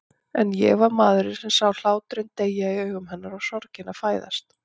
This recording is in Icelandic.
En ég var maðurinn sem sá hláturinn deyja í augum hennar og sorgina fæðast.